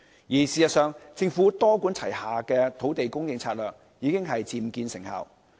事實上，政府多管齊下的土地供應策略已經漸見成效。